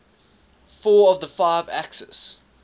four of the five axis